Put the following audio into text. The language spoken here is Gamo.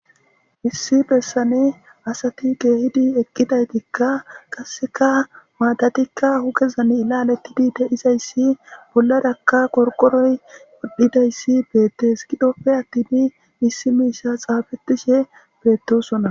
issi bessane asati geehidi eqqidaytikka qasseka maadatikka hugezan ilalettidi de izayssi bollarakka korqoroy wodhidayssi beettes gidhoppe attini missi miisha xaafettishe beettosonna